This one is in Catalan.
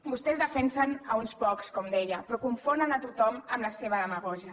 vostès defensen uns pocs com deia però confonen a tothom amb la seva demagògia